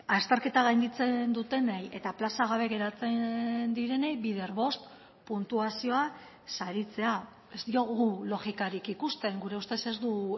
azterketa gainditzen dutenei eta plaza gabe geratzen direnei bider bost puntuazioa saritzea ez diogu logikarik ikusten gure ustez ez du